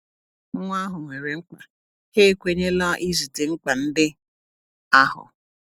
Nwa ahụ nwere mkpa, ha ekwenyela izute mkpa ndị ahụ.